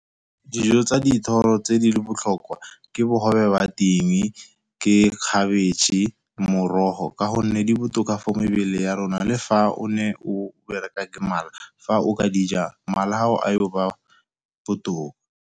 Dijo tsa dithoro tse di le botlhokwa ke bogobe wa ting, ke khabetšhe, morogo, ka gonne di botoka for mebele ya rona. Le fa o ne o bereka ke mala, fa o ka dija mala a gago a yo ba botoka.